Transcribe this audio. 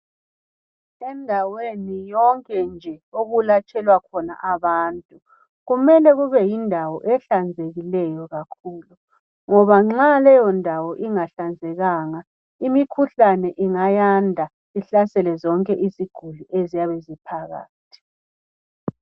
Endaweni yonke nje okulatshelwa abantu kumele kube yindawo ehlanzekileyo kakhulu ngoba nxa leyondawo ingahlanzekanga imikhuhlane ingayanda ihlasele zonke iziguli eziyabe eziphakathi.